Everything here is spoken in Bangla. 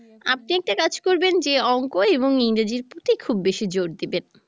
আপনি একটা কাজ করবেন যে অংক এবং ইংরেজির প্রতি খুব বেশী জোর দিবেন